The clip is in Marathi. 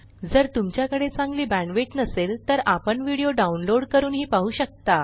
जर तुमच्याकडे चांगली बॅण्डविड्थ नसेल तर आपण व्हिडिओ डाउनलोड करूनही पाहू शकता